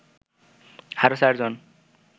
আরো ৪জন